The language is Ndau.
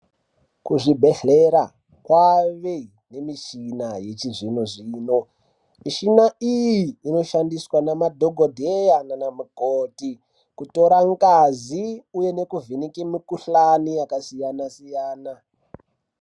Kuzvibhedhlera kwave nemishina yechizvino-zvino. Mishina iyi inoshandiswa namadhokodheya nana mukoti, kutora ngazi uye nekuvheneke mikhuhlani yakasiyana- siyana.